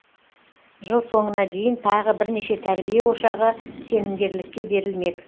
жыл соңына дейін тағы бірнеше тәрбие ошағы сенімгерлікке берілмек